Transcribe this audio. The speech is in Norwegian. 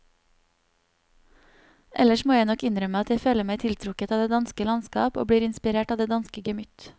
Ellers må jeg nok innrømme at jeg føler meg tiltrukket av det danske landskap og blir inspirert av det danske gemytt.